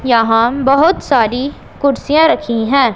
यहां बहोत सारी कुर्सियां रखी है।